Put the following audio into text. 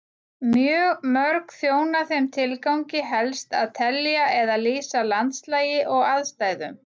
Mjög mörg þjóna þeim tilgangi helst að telja eða lýsa landslagi og aðstæðum.